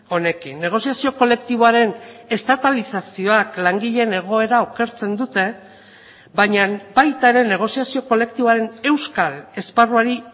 honekin negoziazio kolektiboaren estatalizazioak langileen egoera okertzen dute baina baita ere negoziazio kolektiboaren euskal esparruari